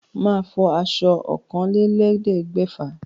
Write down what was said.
Màá fọ aṣọ ọ̀kànlélẹ́ẹ̀ẹ́dẹ́gbẹ́fà.